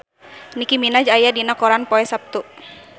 Nicky Minaj aya dina koran poe Saptu